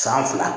San fila